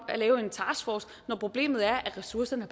at lave en taskforce når problemet er at ressourcerne